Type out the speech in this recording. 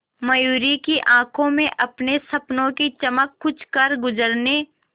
मयूरी की आंखों में अपने सपनों की चमक कुछ करगुजरने